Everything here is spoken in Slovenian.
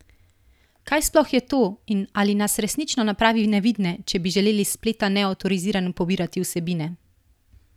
Kaj sploh je to in ali nas resnično napravi nevidne, če bi želeli s spleta neavtorizirano pobirati vsebine?